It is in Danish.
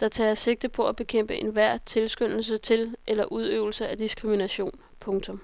der tager sigte på at bekæmpe enhver tilskyndelse til eller udøvelse af diskrimination. punktum